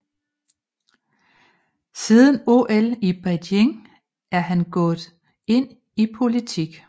Siden OL i Beijing er han gået ind i politik